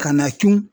Ka na tunun